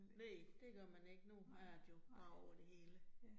Næ det gør man ikke, nu er radio jo bare over det hele